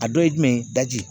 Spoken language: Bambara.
A dɔ ye jumɛn ye daji